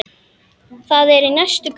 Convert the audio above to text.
Það er í næstu götu.